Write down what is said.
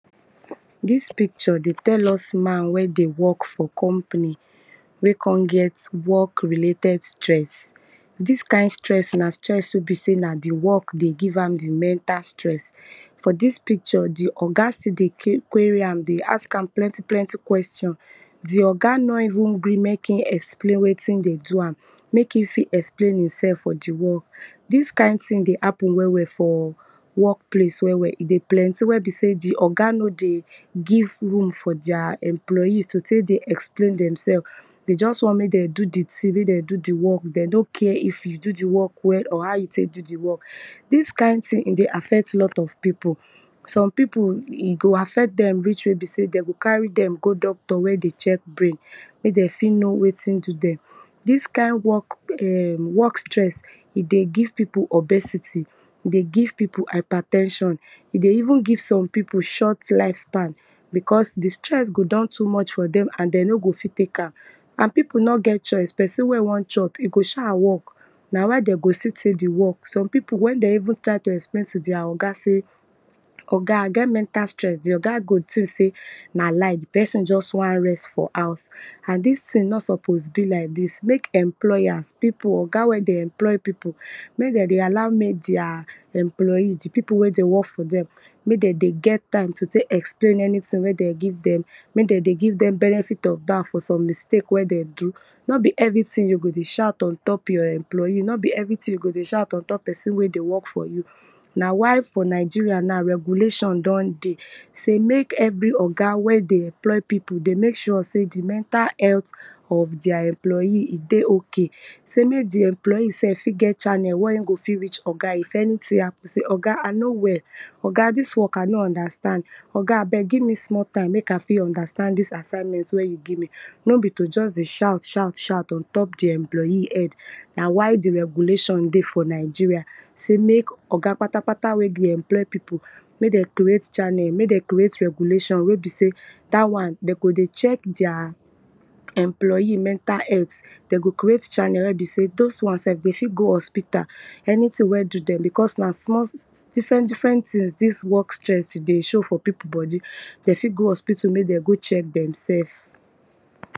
Dis picture dey tell us man wen dey work for company wey kon get work related stree. Dis kind stress na stress wen be sey na di work dey give am di mental stress. For dis picture, di oga still dey query am dey ask am plenty plenty question. Di oga no even gree mek explain wetin dey do am mek e even explain e sef for di work. Dis kind thing dey happen well wel for work place e dey plenty wen be sey di oga no dey even dey give room for their employee to tek dey explain dem sef de just want mek dem do di ting mek dem do di work, de no care how you tek dey if you do di work well or how you tek do di work. Dis kind thing e dey affect lots of pipu, so pipu e go affect dem re ach wey be sey de go carry dem go doctor wey go dey check brain mek dem fit know wetin dey do dem. Dis kind work stress dey give pipu obesity, e dey give pipu hyper ten sion, e dey even give some pipu short life span because di stress go don too much for dem and de no go fit tek am. And ppu nor get choice pesin wey won hop e go sha work na why de go stll tek di work. Some pipu wen dey even try to explain to teir oga se yoga I get mental stress di oga go think sey na lie di pesin just wan rest for house and dis thing nor suppose be like dis. Mek employers oga wey dey employ pipu me dem dey allw mek their employee di pipu wey dey work for dem mek dem dey get time to tek explain anything wey de give dem benefit of doub for some mistake wey dem do. No be everything you go dey shout untop pesin wey dey work for you a why for Nigeria na regulation don dey sey mek every oga wey de emply pipu sey di mental health of their employee dey ok sey mek di employee self fit get channel wey e go fit meet oga if anything happen, oga dis work self I no understand, oga ageb give me small time mek I fit understand dis assignment wen you give me. Nbo be to just dey shout ahout shout ontpo di employee head na why di regulation dey for Nigeria. Sey mek di oga patapata sey mek dem crea channel, mek den creat regulation wey e sey dat wan de go dey check their employee mental health, de go creat channel wen be sey those wan self de fit go on speak anything wen do dem because na small different differet thing dis work stress e dey show for pipu bodi, de fit go hospital mek dem go check demsef.